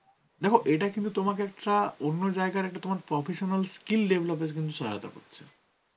দেখো এটা কিন্তু তোমাকে একটা অন্য জায়গার একটা তোমার professional skill develop এ কিন্তু সহায়তা করছে.